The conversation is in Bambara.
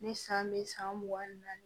Ni san bɛ san mugan ni naani